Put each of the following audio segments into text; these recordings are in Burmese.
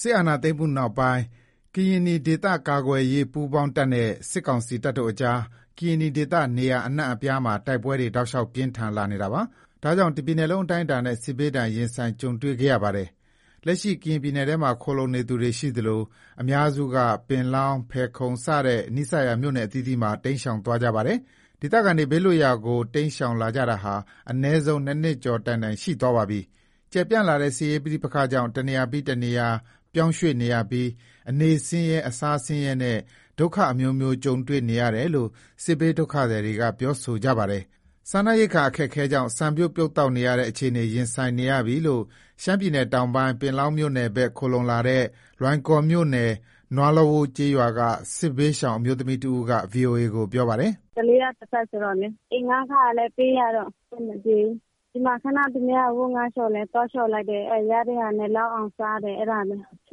စစ်အာဏာမှုနောက်ပိုင်း ကရင်နီဒေသကာကွယ်ရေးပူးပေါင်းတပ်နဲ့ စစ်ကောင်စီတပ်တို့အကြား ကရင်နီဒေသ နေရာအနှံ့အပြားမှာ တိုက်ပွဲ တောက်လျှောက် ပြင်းထန်လာပါတယ်။ ဒါကြောင့် တပြည်နယ်လုံးအတိုင်းအတာနဲ့ စစ်ဘေးဒဏ် ရင်ဆိုင်ကြုံတွေ့ခဲ့ရပါတယ်။ လက်ရှိ ကရင်နီပြည်နယ်ထဲမှာ ခိုလှုံနေသူတွေ ရှိသလို အများစုက ပင်လောင်း၊ ဖယ်ခုံ စတဲ့နီးစပ်ရာ မြို့နယ်အသီးသီးမှာ တိမ်းရှောင်သွားကြပါတယ်။ ဒေသခံတွေ ဘေးလွတ်ရာကို တိမ်းရှောင်လာကြာတာဟာ အနည်းဆုံး ၂နှစ်ကျော်တိုင်တိုင် ရှိသွားပါပြီ။ ကျယ်ပြန့်လာတဲ့ စစ်ရေးပဋိပက္ခကြောင့် တနေရာပြီး တနေရာ ပြောင်းရွှေ့နေရပြီး အနေဆင်းရဲ၊ အစားဆင်းရဲနဲ့ ဒုက္ခအမျိုးမျိုး ကြုံတွေ့ရတယ်လို့ စစ်ဘေးဒုက္ခသည်တွေက ပြောဆိုကြပါတယ်။ စားနပ်ရိက္ခာ အခက်အခဲကြောင့် ဆန်ပြုတ်ပြုတ်သောက်ရတဲ့ အခြေအနေ ရင်ဆိုင်နေရပြီလို့ ရှမ်းပြည်တောင်ပိုင်း ပင်လောင်းမြို့နယ်ဘက် ခိုလှုံလာတဲ့ လွိုင်ကော်မြို့နယ် နွားလဝိုး ကျေးရွာက စစ်ဘေးရှောင် အမျိုးသမီးတဦးက ဗွီအိုအေကို ပြောပါတယ်။ “အဆင်မပြေဘူး။ ကလေးက တစ်ဖက်ဆိုတော့လေ။ အိမ်ငှားခလည်း ပေးရတော့ အဆင်မပြေဘူး။ ခဏ သူများအဝတ်ငှါးလျှော်ရင် သွားလျှော်လိုက်တယ်၊ အဲ့ရတဲ့ဟာနဲ့ လောက်အောင် စားတယ်၊ အဲ့ဒါနဲ့။ ဆ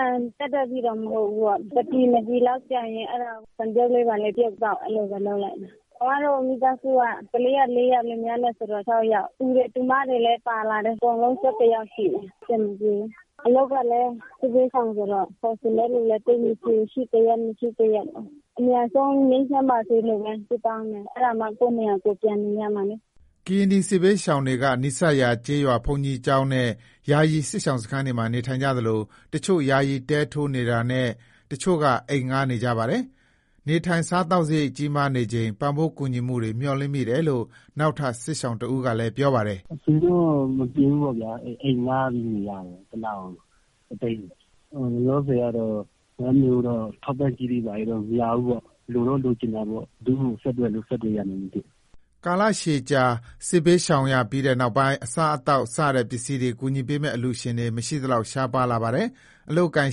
န်ပြတ်တဲ့ထိတော့ မဟုတ်ဘူးပေါ့။ တစ်ပြည် နှစ်ပြည်လောက်ကျန်ရင် အဲ့ဒါကို ဆန်ပြုတ်လေး ဘာလေးပြုတ်သောက် အဲ့လိုပဲ လုပ်လိုက်တယ်။ ကျမတို့ မိသားစုက ကလေးက ၄ယောက် လင်းမယားနဲ့ ဆိုတော့ ၆ယောက်၊ တူတွေ တူမတွေလည်း ပါလာတယ်၊ အကုန်လုံး ၁၁ ယောက် ရှိတယ်၊ အဆင်မပြေဘူး။ အလုပ်ကလည်း စစ်ဘေးရှောင်ဆိုတော့ ခေါ်ချင်တဲ့လူလည်း သိပ်မရှိဘူး။ ရှိတစ်ရက် မရှိတစ်ရက်ပဲ။ အမြန်ဆုံး ငြိမ်ချမ်းပါစေလို့ပဲ ဆုတောင်းတယ်။ အဲ့ဒါမှ ကိုယ့်နေရာ ကိုယ်ပြန်နေရမှာလေ။” ကရင်နီ စစ်ဘေးရှောင်းတွေက နီးစပ်ရာ ကျေးရွာဘုန်းကြီးကျောင်းနဲ့ ယာယီစစ်ရှောင်စခန်းတွေမှာ နေထိုင်ကြသလို တချို့ ယာယီတဲထိုးနေတာနဲ့ တချို့က အိမ်ငှါးနေကြပါတယ်။ နေထိုင်စားသောက်စားရိတ် ကြီးမားနေချိန် ပံ့ပိုးကူညီမှုတွေ မျှော်လင့်မိတယ်လို့ နောက်ထပ် စစ်ရှောင်တဦးက ပြောပါတယ်။ “အဆင်မပြေဘူးပေါ့ဗျာ…အိမ်ငှားပြီးနေရတယ်၊ တစ်လကို တစ်သိန်း။ လောလောဆယ်ကတော့ ထောက်ပံ့ကြေးတွေ ဘာတွေ မရဘူးပေါ့။ လိုတော့ လိုချင်တာပေါ့၊ ဘယ်သူ့ကို ဆက်သွယ်လို့ ဆက်သွယ်ရမှန်း မသိဘူး။” ကာလကြာရှည် စစ်ဘေးရှောင်ရပြီးနောက်ပိုင်း အစားအသောက် စတဲ့ ပစ္စည်းတွေ ကူညီပေးမယ့် အလှူရှင်တွေ မရှိသလောက် ရှားပါးလာပါတယ်။ အလုပ်အကိုင်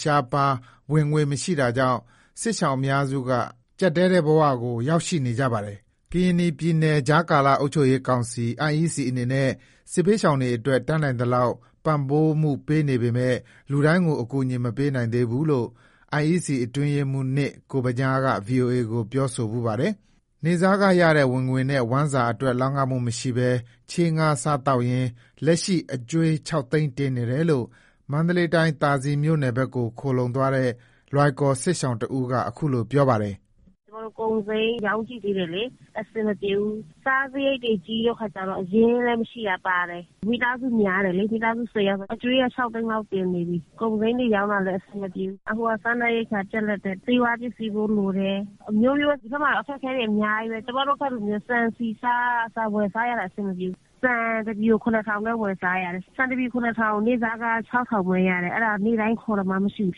ရှားပါး ဝင်ငွေမရှိတာကြောင့် စစ်ရှောင်အများစုက အကျပ်တည်းဘဝ ရောက်ရှိလာကြပါတယ်။ ကရင်နီပြည် ကြားကာလ အုပ်ချုပ်ရေးကောင်စီ အနေနဲ့ စစ်ဘေးရှောင်တွေအတွက် တတ်နိုင်သလောက် ပံ့ပိုးမှုပေးနေပေမယ့် လူတိုင်းကို အကူအညီ မပေးနိုင်သေးဘူးလို့ IEC အတွင်းရေးမှူး ကိုဗညားက ဗွီအိုအေကို ဖြေဆိုဖူးပါတယ်။ နေ့စားခရတဲ့ ဝင်ငွေနဲ့ ဝမ်းစာအတွက် လောက်ငှမှုမရှိဘဲ ချေးငှါးစားသောက်ရင်း လက်ရှိအကြွေး ၆ သိန်းတင်နေတယ်လို့ မန္တလေးတိုင်း သာစည်မြို့နယ်ဘက် ခိုလှုံသွားတဲ့ လွိုင်ကော်စစ်ရှောင်တဦးက ခုလို ပြောပါတယ်။ “ကျမတို့ ကုန်စိမ်းရောင်းကြည့်သေးတယ်လေ၊ အဆင်မပြေဘူး။ စားစရိတ်တွေ ကြီးတဲ့အခါကျတော့ အရင်းလည်း မရှိတာပါတယ်။ မိသားစုများတယ်လေ။ မိသားစု ၁၀ ယောက်ဆိုတော့ အကြွေးက ၆သိန်းလောက် တင်နေပြီ၊ ကုန်စိမ်းတွေ ရောင်းလည်း အဆင်မပြေဘူး။ အခုက စားနပ်ရိက္ခာပြတ်လပ်တယ်။ ဆေးဝါးပစ္စည်းဖိုး လိုတယ်။ အမျိုးမျိုးပဲ ဒီဘက်မှာတော့ အခက်အခဲတွေ အများကြီးပဲ။ ကျမတို့ဖက်မှာ ဆန်၊ ဆီ၊ ဆားကအစ ဝယ်စားရတာ အဆင်မပြေဘူး။ ဆန်တစ်ပြည်ကို ၇,၀၀၀ ပဲ ဝယ်စားရတယ်၊ ဆန်တစ်ပြည် ၇,၀၀၀ ကို နေ့စားခ ၆၀၀၀ ပဲ ရတယ်၊ အဲ့ဒါ နေ့တိုင်းခေါ်သမားမရှိဘူး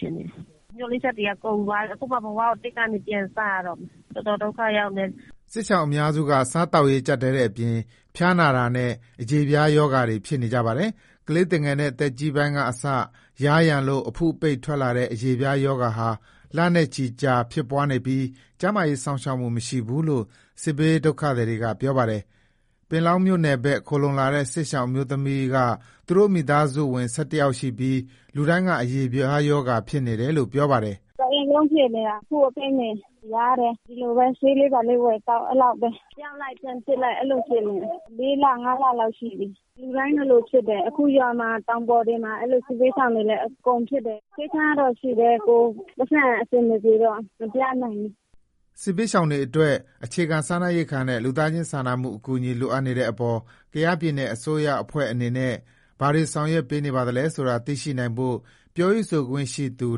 ဖြစ်နေတယ်။ မျှော်လင့်ချက်တွေက ကုန်သွားပြီ။ အခုမှ ဘဝကို ၁ ကနေ ပြန်စရတော့မယ်။ တော်တော် ဒုက္ခရောက်တယ်။” စစ်ရှောင်အများစုက စားသောက်ရေးကျပ်တည်းတဲ့အပြင် ဖျားနားတာနဲ့ အရေးပြားရောဂါတွေ ဖြစ်နေကြပါတယ်။ ကလေးသူငယ်နဲ့ အသက်ကြီးပိုင်းကအစ ယားယံလို့ အဖုအပိတ်ထွက်လာတဲ့ အရေးပြားရောဂါဟာ လနဲ့ချီကြာဖြစ်ပွားနေပြီး ကျန်းမာရေးရှောက်စောင့်မှု မရှိဘူးလို့ စစ်ဘေးဒုက္ခသည်တွေက ပြောပါတယ်။ ပင်လောင်းမြို့နယ်ဘက် ခိုလှုံလာတဲ့ စစ်ရှောင်အမျိုးသမီးက သူတို့ မိသာစုဝင် ၁၁ ယောက်ရှိပြီး လူတိုင်းက အရေပြားရောဂါဖြစ်နေတယ်လို့ ပြောပါတယ်။ “တအိမ်လုံးဖြစ်နေတာ အဖုအပိတ်တွေ ယားတယ်။ ဒီလိုပဲ ဆေးလေးဘာလေးဝယ်သောက် အဲ့လောက်ပဲ။ ပျောက်လိုက် ပြန်ဖြစ်လိုက် အဲ့လိုဖြစ်နေတယ်၊ ၄လ ၅လ လောက်ရှိပြီ။ လူတိုင်းလိုလိုဖြစ်တယ်။ အခု ရွာမှာ၊ တောင်ပေါ်တွေမှာ အဲ့လို စစ်ဘေးရှောင်တွေလည်း အကုန်ဖြစ်တယ်။ ဆေးခန်းကတော့ ရှိတယ်။ ကိုယ့် ပိုက်ဆံအဆင်မပြေတော့ မပြနိုင်ဘူး။” စစ်ဘေးရှောင်တွေအတွက် အခြေခံစားနပ်ရိက္ခာနဲ့ လူသားချင်းစာနာမှု အကူအညီ လိုအပ်နေတဲ့အပေါ် ကယားပြည်နယ် အစိုးရအဖွဲ့ အနေနဲ့ ဘာတွေဆောင်ရွက်နေပါသလဲဆိုတာ သိရှိနိုင်ဖို့ ပြောရေးဆိုခွင့်ရှိသူ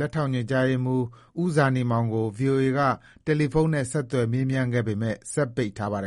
လက်ထောက်ညွှန့်ကြားရေးမှူး ဦးဇာနည်မောင်ကို VOA က တယ်လီဖုန်းနဲ့ ဆက်သွယ် မေးမြန်းခဲ့ပေမယ့် စက်ပိတ်ထားပါတယ်